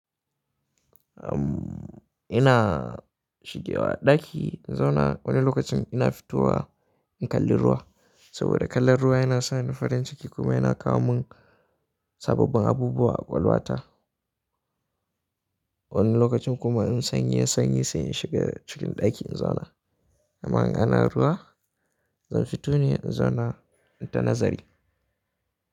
Ina shigewa ɗaki in zauna wani lokacin ina fito wa in kalli ruwa. Sabida kallon ruwa yana sa ni farin ciki kuma yana kawo mun sababbin abubuwa a ƙwaƙwalwa ta. Wani lokacin kuma in sanyi yayi sanyi sai in shiga cikin ɗaki in zauna. In ana ruwa, zan fito ne in zauna in ta nazari.